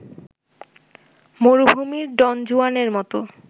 মরুভূমির ডনজুয়ানের মত